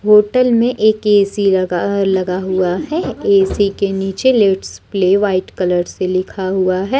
Hotel में एक A C लगा लगा हुआ है ए_सी के नीचे लेट्स प्ले व्हाइट कलर से लिखा हुआ है।